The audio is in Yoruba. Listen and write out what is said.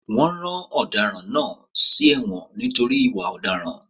Wọn rán ọ̀daràn náà lọ sí èwòn nítorí ìwà ọ̀daràn.